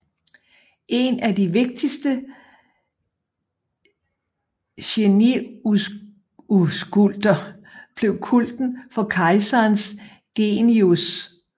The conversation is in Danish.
En af de vigtigste geniuskulter blev kulten for kejserens genius